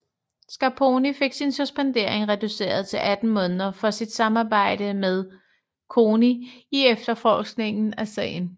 Scarponi fik sin suspendering reduceret til 18 måneder for sit samarbejde med CONI i efterforskningen af sagen